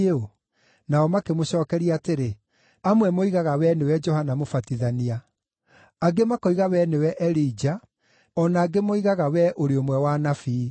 Nao makĩmũcookeria atĩrĩ, “Amwe moigaga wee nĩwe Johana Mũbatithania; angĩ makoiga wee nĩwe Elija; o na angĩ moigaga wee ũrĩ ũmwe wa anabii.”